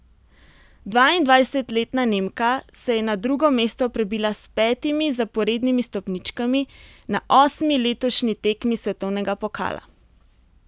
Dvaindvajsetletna Nemka se je na drugo mesto prebila s petimi zaporednimi stopničkami na osmi letošnji tekmi svetovnega pokala.